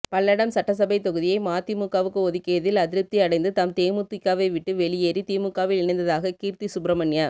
பல்லடசம் சட்டசபை தொகுதியை மதிமுகவுக்கு ஒதுக்கியதில் அதிருப்தி அடைந்து தாம் தேமுதிகவை விட்டு வெளியேறி திமுகவில் இணைந்ததாக கீர்த்தி சுப்ரமணிய